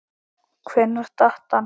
Hvenær datt hann?